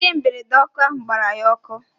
Ihe mberede ọkụ ahu gbara ya ọkụ